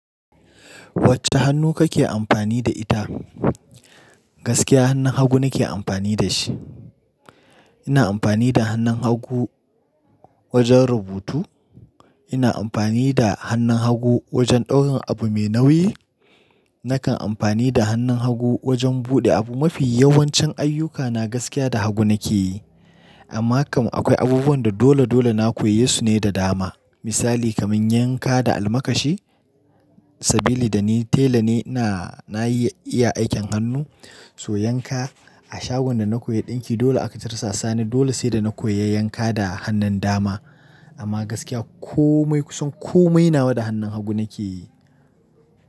Wacce hannu kake amfani da ita? Gaskiya hannun haggu nake amfani da shi. Ina amfani da hannun haggu wajen rubutu. Ina amfani da hannun hagu wajen ɗaurin abu mai nauyi. Nakan amfani da hannun hagu wajen buɗe abu. Mafi yawancin ayyukana gaskiya da hagu nake yi. Amma kam akwai abubuwan da dole dole na koyi su ne da dama. Misali kamar yanka da almakashi. Sabili da ni tela ne, ina na iya aikin hannu. To yanka, a shagon da na koyi ɗinki dole aka kirsa sani. Dole sai da na koyi yanka da hannun dama. Amma gaskiya komai kusan komai nawa da hannun hagu nake yi.